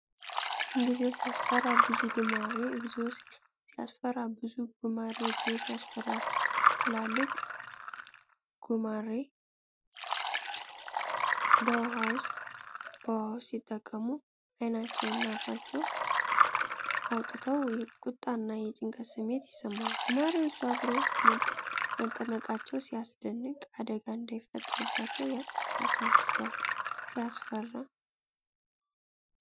እግዚኦ ሲያስፈራ! ብዙ ጉማሬ እግዚኦ ሲያስፈራ! ብዙ ጉማሬ እግዚኦ ሲያስፈራ! ትላልቅ ጉማሬዎች በውሃ ውስጥ ሲጠመቁ። አይናቸውንና አፋቸውን አውጥተዋል። የቁጣና የጭንቀት ስሜት ይሰማል። ጉማሬዎቹ አብረው መጠመቃቸው ያስደንቃል። አደጋ እንዳይፈጠር ያሳስባል። ሲያስፈራ!